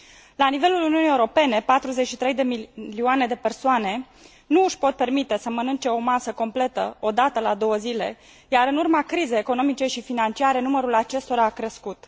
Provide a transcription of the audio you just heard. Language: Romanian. La nivelul Uniunii Europene, 43 de milioane de persoane nu își pot permite să mănânce o masă completă o dată la două zile, iar în urma crizei economice și financiare, numărul acestora a crescut.